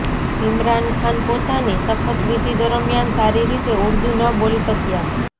ઈમરાન ખાન પોતાની શપથવિધિ દરમ્યાન સારી રીતે ઉર્દૂ ન બોલી શક્યા